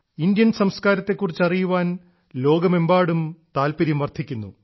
Indian സംസ്കാരത്തെക്കുറിച്ചറിയുവാൻ ലോകമെമ്പാടും താത്പര്യം വർദ്ധിക്കുന്നു